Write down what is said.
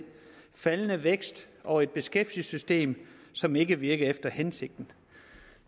faldende vækst og et beskæftigelsessystem som ikke virkede efter hensigten